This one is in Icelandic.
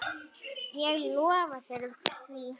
Ég lofa þér því.